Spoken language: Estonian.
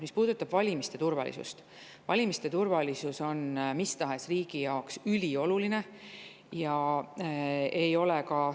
Mis puudutab valimiste turvalisust, siis valimiste turvalisus on mis tahes riigi jaoks ülioluline.